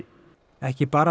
ekki bara